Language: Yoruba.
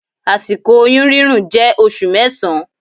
Àsìkò oyún rírùn jẹ́ oṣù mẹsan.